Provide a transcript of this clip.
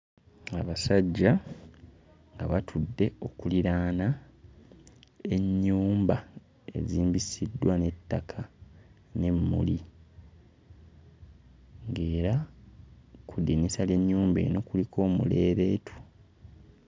Abasajja nga batudde okuliraana ennyumba ezisimbisiddwa n'ettaka n'emmuli ng'era ku ddinisa ly'ennyumba eno kuliko omuleeleetu.